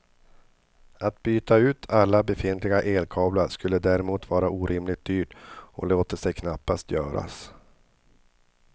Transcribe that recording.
Att byta ut alla befintliga elkablar skulle däremot vara orimligt dyrt och låter sig knappt göras.